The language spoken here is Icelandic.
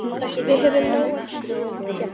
Við höfum nóg af teppum.